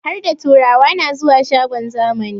Harda turawa na zuwa shagon zamani